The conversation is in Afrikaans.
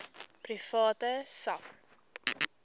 private sak